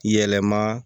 Yɛlɛma